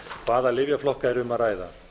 hvaða lyfjaflokka er um að ræða